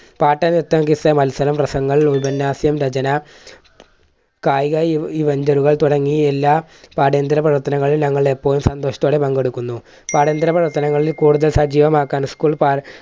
പാട്ട്, നൃത്തം quiz മത്സരം, പ്രസംഗങ്ങൾ, ഉപന്യാസം, രചന, കായിക eventure കൾ തുടങ്ങിയ എല്ലാം പാഠ്യാന്തര പ്രവർത്തനങ്ങളിലും ഞങ്ങൾ എപ്പോഴും സന്തോഷത്തോടെ പങ്കെടുക്കുന്നു. പാഠ്യാന്തര പ്രവർത്തനങ്ങളിൽ കൂടുതൽ സജീവമാക്കാൻ school